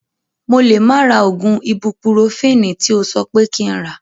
Mo lè má ra oògùn ibupurofini tí o sọ pé kí n rà